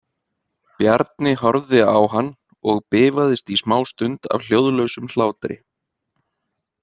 Bjarni horfði á hann og bifaðist í smástund af hljóðlausum hlátri.